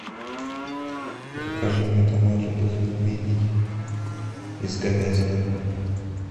закажи мне домой любых пельменей из говядины